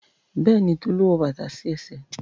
Béèni Tolu wọ bàtà sí ẹsẹ̀.